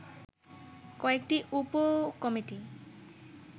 কয়েকটি উপ কমিটি